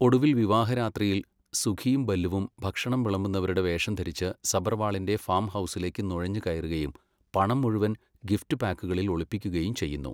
ഒടുവിൽ വിവാഹ രാത്രിയിൽ, സുഖിയും ബല്ലുവും ഭക്ഷണം വിളമ്പുന്നവരുടെ വേഷം ധരിച്ച് സബർവാളിൻ്റെ ഫാം ഹൗസിലേക്ക് നുഴഞ്ഞുകയറുകയും പണം മുഴുവൻ ഗിഫ്റ്റ് പാക്കുകളിൽ ഒളിപ്പിക്കുകയും ചെയ്യുന്നു.